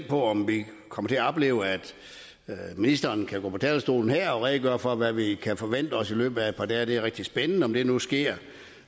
på om vi kommer til at opleve at ministeren går på talerstolen her og redegør for hvad vi kan forvente os i løbet af et par dage det er rigtig spændende om det nu sker